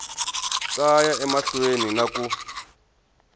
ta ya emahlweni na ku